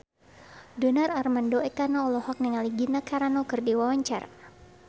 Donar Armando Ekana olohok ningali Gina Carano keur diwawancara